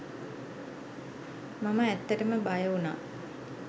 මම ඇත්තටම බය වුණා.